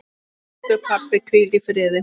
Elsku pabbi, hvíl í friði.